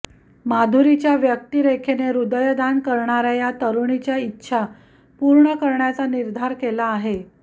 माधुरीच्या व्यक्तिरेखेने हृदयदान करणाऱ्या या तरुणीच्या इच्छा पूर्ण करण्याचा निर्धार केला आहे